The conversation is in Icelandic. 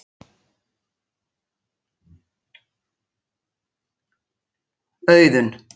Auðun